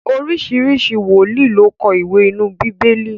oríṣiríṣi wòlíì ló kọ iwe inú Bibeli.